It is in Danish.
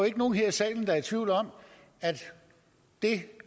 ikke nogen her i salen der er i tvivl om at det